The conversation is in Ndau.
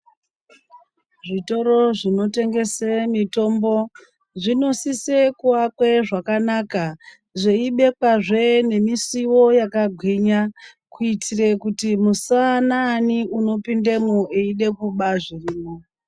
Zvitoro zvinotengese mitombo zvinosise kuakwe zvakanaka, zveibekwazve nemisiwo yakagwinya, kuitire kuti musawana ani anopindemwo eida kuba zvirimwo.